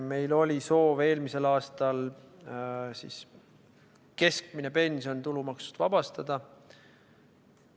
Meil oli eelmisel aastal soov keskmine pension tulumaksust vabastada.